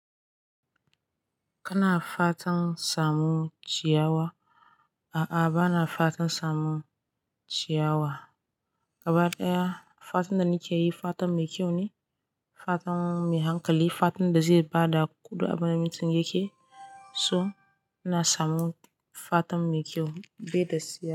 Kana fatan samu ciyawa? A'a, bana fatan samu ciyawa. Gaba ɗaya fatan da nake yi, fatan mai kyau ne, fatan mai hankali, fatan da zai ba da kuɗin abin da mutum yake. So ina samu fatan mai kyau bai da siyara.